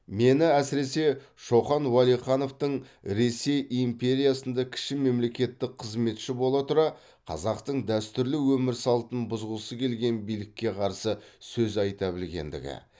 мені әсіресе шоқан уәлихановтың ресей империясында кіші мемлекеттік қызметші бола тұра қазақтың дәстүрлі өмір салтын бұзғысы келген билікке қарсы сөз айта білгендігі